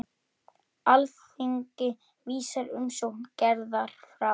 Alþingi vísar umsókn Gerðar frá.